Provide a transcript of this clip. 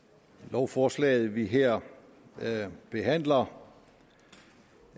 lovforslaget vi her her behandler